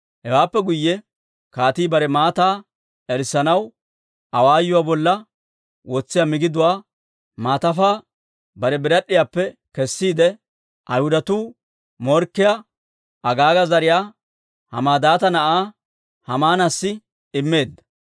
Hewaappe guyye kaatii bare maataa erissanaw awaayuwaa bolla wotsiyaa migiduwaa maatafaa bare birad'd'iyaappe kessiide, Ayhudatuu morkkiyaa, Agaaga zariyaa, Hammadaata na'aa Haamaanassi immeedda.